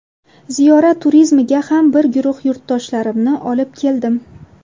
Ziyorat turizmiga ham bir guruh yurtdoshlarimni olib keldim.